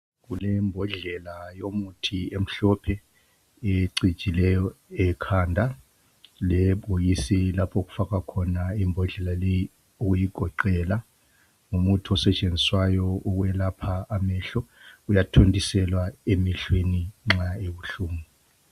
Kulembodlela yomuthi emhlophe ecijileyo ekhanda lebhokisi lapho okufakwa khona imbodlela leyi uyigoqela ngumuthi osetshenziswayo ukwelapha amehlo uyathontiselwa emehlweni nxa ebuhlungu.